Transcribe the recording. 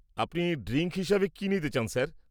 আপনি ড্রিঙ্ক হিসেবে কি নিতে চান স্যার?